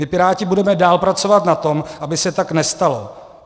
My Piráti budeme dál pracovat na tom, aby se tak nestalo.